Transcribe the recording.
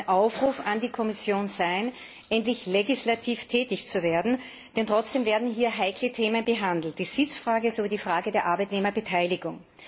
Das soll ein Aufruf an die Kommission sein, endlich legislativ tätig zu werden, denn es werden hier heikle Themen behandelt Die Sitzfrage und die Frage der Arbeitnehmerbeteiligung.